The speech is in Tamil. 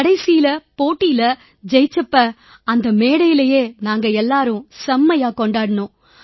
கடைசியில போட்டியில ஜெயிச்ச போது அந்த மேடையிலேயே நாங்க எல்லாரும் செம்மையா கொண்டாடினோம்